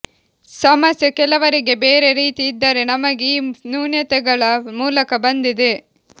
ಸಮಸ್ಯೆ ಕೆಲವರಿಗೆ ಬೇರೆ ರೀತಿ ಇದ್ದರೆ ನಮಗೆ ಈ ನ್ಯೂನತೆಗಳ ಮೂಲಕ ಬಂದಿದೆ